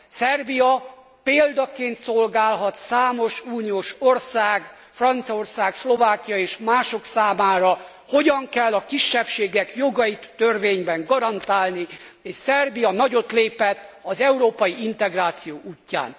Szerbia példaként szolgálhat számos uniós ország, Franciaország, Szlovákia és mások számára, hogyan kell a kisebbségek jogait törvényben garantálni, és Szerbia nagyot lépett az európai integráció útján.